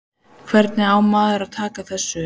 Hvernig á maður að taka þessu?